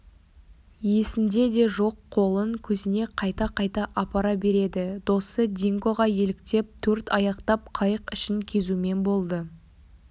есінде де жоқ қолын көзіне қайта-қайта апара береді досы дингоға еліктеп төртаяқтап қайық ішін кезумен болды